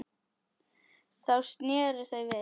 Þá sneru þau við.